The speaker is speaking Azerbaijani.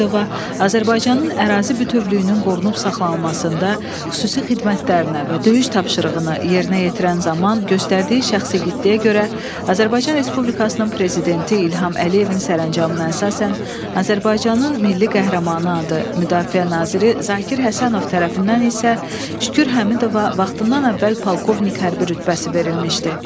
Azərbaycanın ərazi bütövlüyünün qorunub saxlanılmasında xüsusi xidmətlərinə və döyüş tapşırığını yerinə yetirən zaman göstərdiyi şəxsi igidliyə görə Azərbaycan Respublikasının prezidenti İlham Əliyevin sərəncamına əsasən Azərbaycanın Milli Qəhrəmanı adı, Müdafiə Naziri Zakir Həsənov tərəfindən isə Şükür Həmidova vaxtından əvvəl polkovnik hərbi rütbəsi verilmişdi.